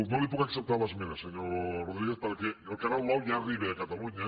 no li puc acceptar l’esmena senyor rodríguez perquè el canal nou ja arriba a catalunya